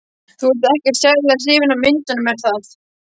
Þú ert ekkert sérlega hrifin af myndunum, er það?